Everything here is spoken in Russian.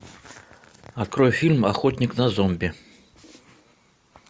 открой фильм охотник на зомби